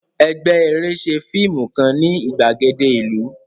Ẹgbẹ́ eré ṣe fíìmù kan ní ìgbàgede ìlú